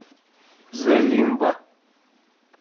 зе лимба